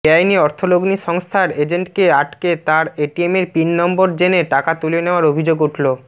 বেআইনি অর্থলগ্নি সংস্থার এজেন্টকে আটকে তাঁর এটিএমের পিন নম্বর জেনে টাকা তুলে নেওয়ার অভিযোগ উঠল